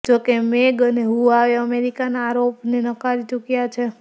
જોકે મેંગ અને હુવાવે અમેરિકાના આરોપને નકારી ચૂક્યા છે